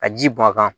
Ka ji bɔn a kan